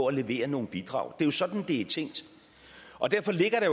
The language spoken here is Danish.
at levere nogle bidrag det er jo sådan det er tænkt derfor ligger det